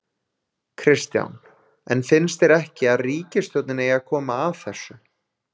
Kristján: En finnst þér ekki að ríkisstjórnin eigi að koma að þessu?